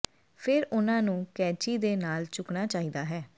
ਫਿਰ ਉਹਨਾਂ ਨੂੰ ਕੈਚੀ ਦੇ ਨਾਲ ਝੁਕਣਾ ਚਾਹੀਦਾ ਹੈ